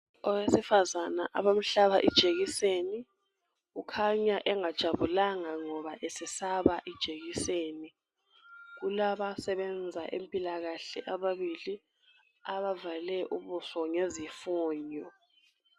OIwesifazana abamhlaba ijekiseni ukhanya engajabulanga ngoba esesaba ijekiseni. Kulabasebenza empilakahle ababili abavale ubuso ngezifonyo.